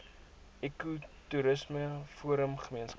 ekotoerisme forum gemeenskap